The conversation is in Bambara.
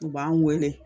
U b'an wele